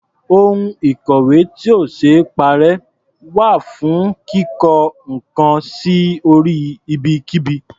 Ohun ìkọ̀wé tí ò ṣee parẹ́ wà fún kíko nǹkan sí orí ibikíbi.